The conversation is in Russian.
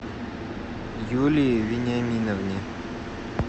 юлии вениаминовне